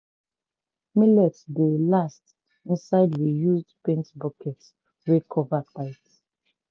millet dey last inside reused paint bucket wey cover tight.